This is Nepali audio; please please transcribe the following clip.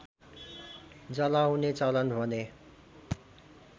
जलाउने चलन भने